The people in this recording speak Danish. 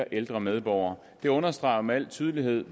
ældre medborgere det understreger jo med al tydelighed